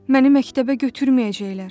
Məni məktəbə götürməyəcəklər.